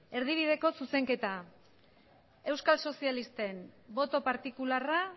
erdibideko zuzenketa euskal sozialisten boto partikularra